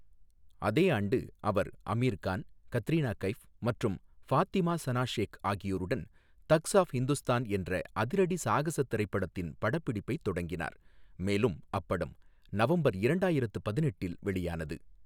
அதே ஆண்டு அவர் அமீர்கான், கத்ரீனா கைஃப் மற்றும் பாத்திமா சனா ஷேக் ஆகியோருடன் தக்ஸ் ஆஃப் ஹிந்துஸ்தான் என்ற அதிரடி சாகச திரைப்படத்தின் படப்பிடிப்பை தொடங்கினார் மேலும் அப்படம் நவம்பர் இரண்டாயிரத்து பதினெட்டில் வெளியானது.